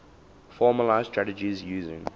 formalised strategies using